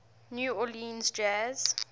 new orleans jazz